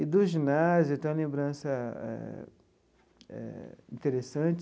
E do ginásio tem uma lembrança eh interessante.